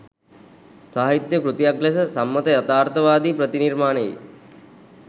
සාහිත්‍යය කෘතියක් ලෙස සම්මත යථාර්ථවාදී ප්‍රතිනිර්මාණයේ